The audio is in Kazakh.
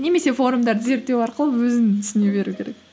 немесе форумдарды зерттеу арқылы өзін түсіне беру керек